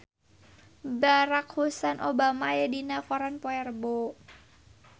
Barack Hussein Obama aya dina koran poe Rebo